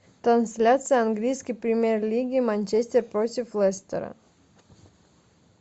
трансляция английской премьер лиги манчестер против лестера